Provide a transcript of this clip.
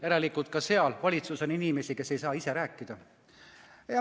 Järelikult ka valitsuses on inimesi, kes ei saa ise rääkida.